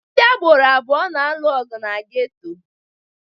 Ndị agboro abụọ na-alụ ọgụ na geto.